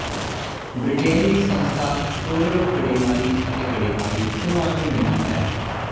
Britain ਦੀ ਸੰਸਥਾ TORRO ਗੜੇਮਾਰੀ ਅਤੇ ਗੜੇਮਾਰੀ ਦੋਵਾਂ ਨੂੰ ਮਿਣਦੀ ਹੈ